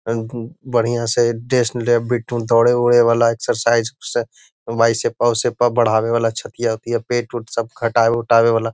आ उम्म बढ़िया से डेस्न लेब दौरे-उरे वाला एक्सरसाइज से बाइसेप्स उसेपा बढ़ावे वाला छतिया-उतिया पेट-उट सब घटावे उटावे वाला।